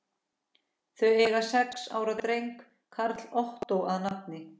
Þau eiga sex ára dreng, Karl Ottó að nafni.